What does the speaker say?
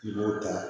I b'o ta